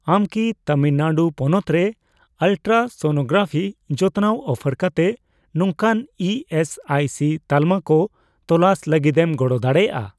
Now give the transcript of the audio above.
ᱟᱢ ᱠᱤ ᱛᱟᱹᱢᱤᱞ ᱱᱟᱹᱰᱩ ᱯᱚᱱᱚᱛ ᱨᱮ ᱟᱞᱴᱨᱟᱥᱚᱱᱳᱜᱨᱟᱯᱷᱤ ᱡᱚᱛᱱᱟᱣ ᱚᱯᱷᱟᱨ ᱠᱟᱛᱮ ᱱᱚᱝᱠᱟᱱ ᱤ ᱮᱥ ᱟᱭ ᱥᱤ ᱛᱟᱞᱢᱟ ᱠᱚ ᱛᱚᱞᱟᱥ ᱞᱟᱹᱜᱤᱫᱮᱢ ᱜᱚᱲᱚ ᱫᱟᱲᱮᱭᱟᱜᱼᱟ ᱾